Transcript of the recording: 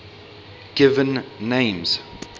given names